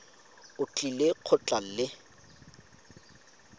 o tlile go tla le